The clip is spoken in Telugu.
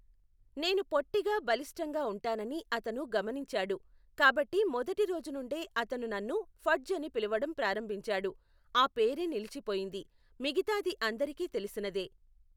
నేను పొట్టిగా బలిష్టంగా ఉంటానని అతను గమనించాడు, కాబట్టి మొదటి రోజు నుండే అతను నన్ను ఫడ్జ్ అని పిలవడం ప్రారంభించాడు, ఆ పేరే నిలిచిపోయింది, మిగితాది అందరికీ తెలిసినదే.